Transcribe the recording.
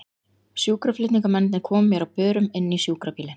Sjúkraflutningamennirnir komu mér á börum inn í sjúkrabílinn.